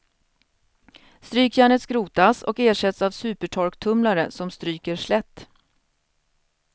Strykjärnet skrotas och ersätts av supertorktumlare som stryker slätt.